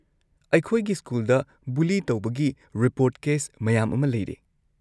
ꯑꯩꯈꯣꯏꯒꯤ ꯁ꯭ꯀꯨꯜꯗ ꯕꯨꯂꯤ ꯇꯧꯕꯒꯤ ꯔꯤꯄꯣꯔꯠ ꯀꯦꯁ ꯃꯌꯥꯝ ꯑꯃ ꯂꯩꯔꯦ꯫